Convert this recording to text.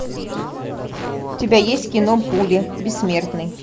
у тебя есть кино пули бессмертный